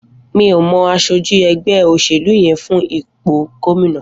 Mi ó mọ àṣójí ẹgbẹ óṣélú yèn fún ipó góminà